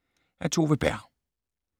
Af Tove Berg